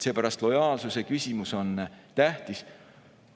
Seepärast on lojaalsuse küsimus tähtis.